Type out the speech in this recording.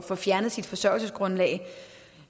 få fjernet sit forsørgelsesgrundlag